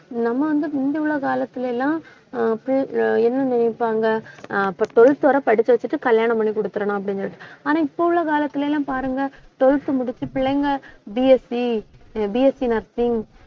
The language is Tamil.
நம்ம வந்து முந்தி உள்ள காலத்துல எல்லாம் என்ன ஆஹ் பி~ ஆஹ் நினைப்பாங்க அப்ப twelfth வரை படிக்க வச்சுட்டு கல்யாணம் பண்ணி குடுத்திறணும் அப்படினு சொல்லிட்டு ஆனா இப்ப உள்ள காலத்துல எல்லாம் பாருங்க twelfth முடிச்சு பிள்ளைங்க BSC அஹ் BSCnursing